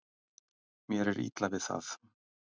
Mér er illa við það.